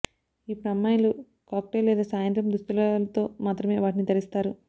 ఇప్పుడు అమ్మాయిలు కాక్టైల్ లేదా సాయంత్రం దుస్తులతో మాత్రమే వాటిని ధరిస్తారు